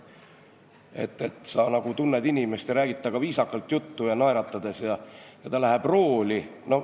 Sa tunned inimest ja räägid temaga viisakalt naeratades juttu, aga ta läheb rooli ...